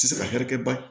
Tɛ se ka hɛrɛkɛ ban